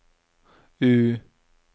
U